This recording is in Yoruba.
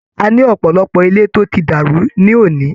A ní ọ̀pọ̀lọpọ̀ ilé tó ti dàrú ní òní.